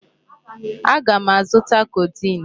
Aga m azụta codeine.